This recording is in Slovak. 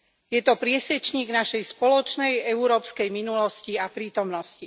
Je to priesečník našej spoločnej európskej minulosti a prítomnosti.